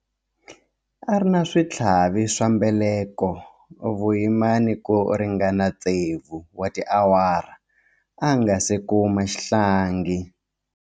A ri na switlhavi swa mbeleko vuyimani ku ringana tsevu wa tiawara a nga si kuma xihlangi.